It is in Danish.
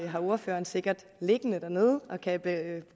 har ordføreren sikkert liggende dernede og kan